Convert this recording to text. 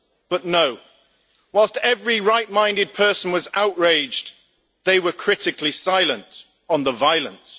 But no, whilst every right minded person was outraged, they were critically silent on the violence.